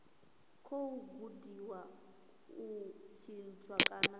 khou gudiwa u tshintsha kana